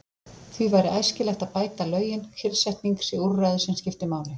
Því væri æskilegt að bæta lögin, kyrrsetning sé úrræði sem skipti máli.